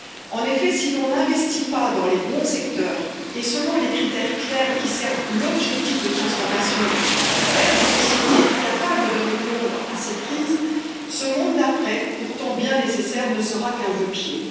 En effet, si l'on n'investit pas dans les bons secteurs et selon des critères clairs qui servent l'objectif de transformation vers des sociétés capables de répondre à ces crises, ce monde d'après, pourtant bien nécessaire, ne sera qu'un vœu pieux.